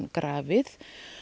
grafið